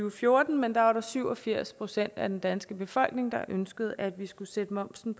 og fjorten var der syv og firs procent af den danske befolkning der ønskede at vi skulle sætte momsen